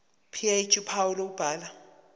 ph uphawu lokubhala